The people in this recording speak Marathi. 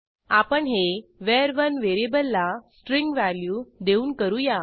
आपण हे var1व्हेरिएबलला स्ट्रिंग व्हॅल्यू देऊन करूया